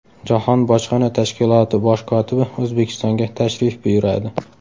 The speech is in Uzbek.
Jahon bojxona tashkiloti bosh kotibi O‘zbekistonga tashrif buyuradi.